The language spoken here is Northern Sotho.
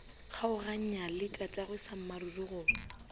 kgaoganya le tatagwe sammaruri go